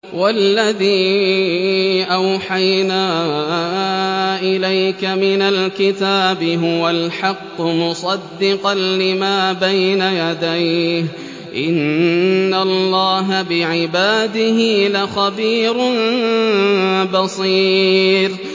وَالَّذِي أَوْحَيْنَا إِلَيْكَ مِنَ الْكِتَابِ هُوَ الْحَقُّ مُصَدِّقًا لِّمَا بَيْنَ يَدَيْهِ ۗ إِنَّ اللَّهَ بِعِبَادِهِ لَخَبِيرٌ بَصِيرٌ